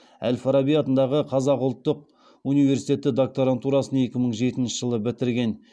әл фараби атындағы қазақ ұлттық университетінің докторантурасын екі мың жетінші жылы бітірген